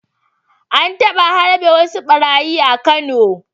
An taba harbe wasu ɓarayi a Kano.